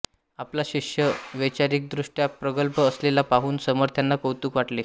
आपला शिष्य वैचारिकदृष्ट्या प्रगल्भ असलेला पाहून समर्थांना कौतुक वाटले